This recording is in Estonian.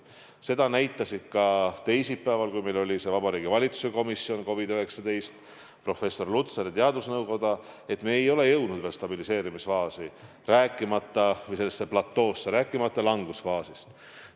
Seda ütlesid teisipäeval, kui meil oli Vabariigi Valitsuse COVID-19 komisjon, ka professor Lutsar ja teadusnõukoda, et me ei ole jõudnud veel stabiliseerimisfaasi või sellele platoole, rääkimata langusfaasist.